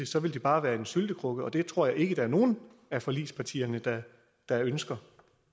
så vil det bare være en syltekrukke og det tror jeg ikke der er nogen af forligspartierne der der ønsker